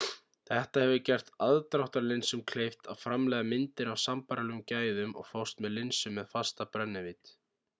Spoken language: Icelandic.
þetta hefur gert aðdráttarlinsum kleift að framleiða myndir af sambærilegum gæðum og fást með linsum með fasta brennivídd